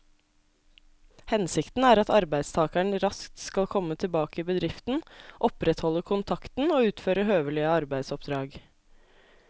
Hensikten er at arbeidstakeren raskt skal komme tilbake i bedriften, opprettholde kontakten og utføre høvelige arbeidsoppdrag.